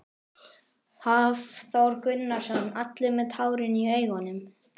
Hafþór Gunnarsson: Allir með tárin í augunum?